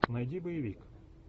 найди боевик